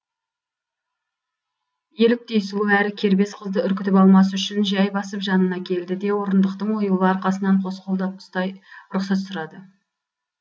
еліктей сұлу әрі кербез қызды үркітіп алмас үшін жәй басып жанына келді де орындықтың оюлы арқасынан қос қолдап ұстай рұқсат сұрады